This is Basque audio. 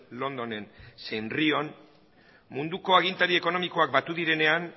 londonen zein rion munduko agintari ekonomikoak batu direnean